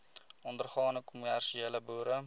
ondergaande kommersiële boere